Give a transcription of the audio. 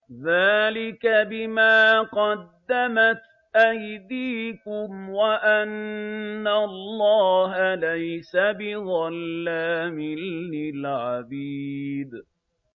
ذَٰلِكَ بِمَا قَدَّمَتْ أَيْدِيكُمْ وَأَنَّ اللَّهَ لَيْسَ بِظَلَّامٍ لِّلْعَبِيدِ